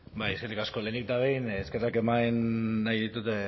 bai eskerrik asko lehenik eta behin eskerrak eman nahi ditut